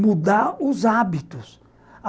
mudar os hábitos.